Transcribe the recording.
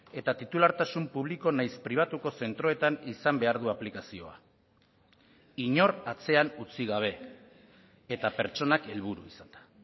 eta titulartasun publiko naiz pribatuko zentroetan izan behar du aplikazioa inor atzean utzi gabe eta pertsonak helburu izanda